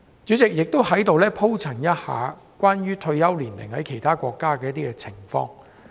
主席，我在此也談一下有關其他國家退休年齡的情況。